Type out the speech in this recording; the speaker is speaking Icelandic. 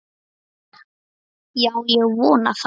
Já, ég vona það.